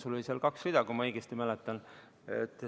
Sul oli seal kaks rida, kui ma õigesti mäletan.